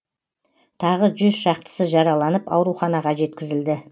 тағы шақтысы жараланып ауруханаға жеткізілді